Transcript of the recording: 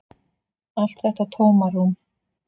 Allt þetta tómarúm.